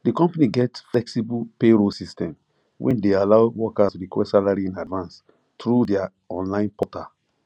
d company get flexible payroll system wey de allow workers request salary in advance through their online portal